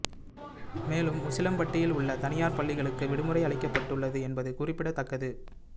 மேலும் உசிலம்பட்டியில் உள்ள தனியார் பள்ளிகளுக்கு விடுமுறை அளிக்கப்பட்டுள்ளது என்பது குறிப்பிடத்தக்கது